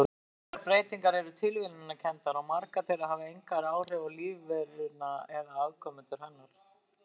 Slíkar breytingar eru tilviljunarkenndar og margar þeirra hafa engin áhrif á lífveruna eða afkomendur hennar.